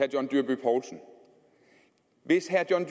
john dyrby paulsen hvis herre john